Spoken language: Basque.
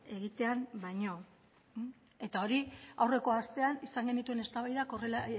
egitean baino eta hori aurreko astean izan genituen eztabaidak horrela